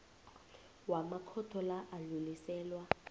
wamakhotho la adluliselwa